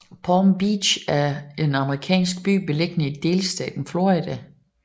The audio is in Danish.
Palm Beach er en amerikansk by beliggende i delstaten Florida